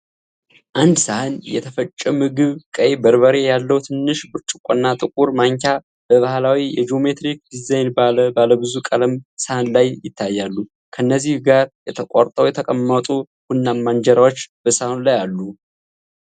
አንድ ሳህን የተፈጨ ምግብ፣ ቀይ በርበሬ ያለው ትንሽ ብርጭቆና ጥቁር ማንኪያ በባህላዊ የጂኦሜትሪክ ዲዛይን ባለ ባለብዙ ቀለም ሳህን ላይ ይታያሉ። ከእነዚህ ጋር ተቆርጠው የተቀመጡ ቡናማ እንጀራዎች በሳህኑ ላይ አሉ።